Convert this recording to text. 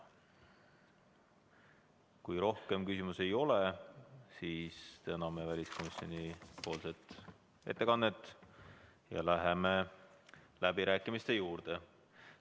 Kui rohkem küsimusi ei ole, siis täname väliskomisjoni ettekandjat ja läheme läbirääkimiste juurde.